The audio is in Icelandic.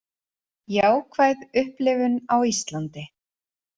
Jákvæð upplifun á Íslandi